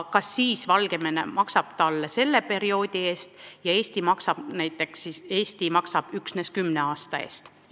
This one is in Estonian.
Kas siis Valgevene maksab talle selle perioodi eest ja Eesti näiteks üksnes 10 aasta eest.